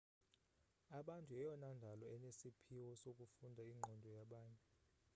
abantu yeyona ndalo inesiphiwo sokufunda iingqondo yabanye